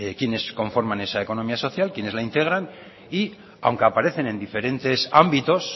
quienes conforman esa economía social quienes la integran y aunque aparecen en diferentes ámbitos